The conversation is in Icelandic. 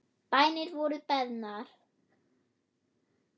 Bænir voru beðnar.